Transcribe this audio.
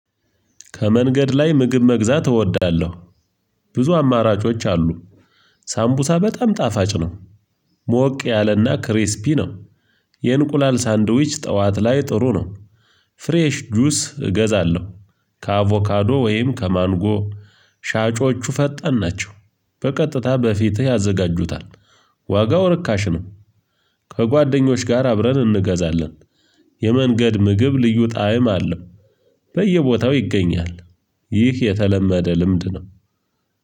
ከመንገድ ላይ ምግብ መግዛት እወዳለሁ። ብዙ አማራጮች አሉ። ሳምቡሳ በጣም ጣፋጭ ነው። ሞቅ ያለና ክሪስፒ ነው። የእንቁላል ሳንድዊች ጠዋት ላይ ጥሩ ነው። ፍሬሽ ጁስ እገዛለሁ። ከአቮካዶ ወይም ከማንጎ። ሻጮቹ ፈጣን ናቸው። በቀጥታ በፊትህ ያዘጋጁታል። ዋጋው ርካሽ ነው። ከጓደኞች ጋር አብረን እንገዛለን። የመንገድ ምግብ ልዩ ጣዕም አለው። በየቦታው ይገኛል። ይህ የተለመደ ልምድ ነው።